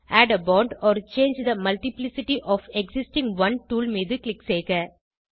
add a bond or change the multiplicity of existing one tool மீது click செய்க